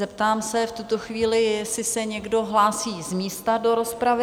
Zeptám se v tuto chvíli, jestli se někdo hlásí z místa do rozpravy?